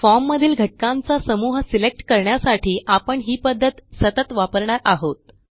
form मधील घटकांचा समूह सिलेक्ट करण्यासाठी आपण ही पध्दत सतत वापरणार आहोत